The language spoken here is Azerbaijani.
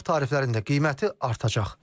Aylıq tariflərin də qiyməti artacaq.